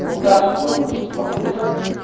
мы так же проводим два курса